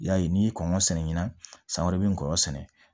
I y'a ye n'i ye kɔngɔ sɛnɛ ɲinan san wɛrɛ bɛ ngɔɔyɔ sɛnɛ